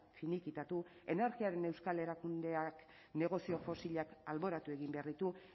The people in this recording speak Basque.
finikitatu energiaren euskal erakundeak negozio fosilak alboratu egin behar ditu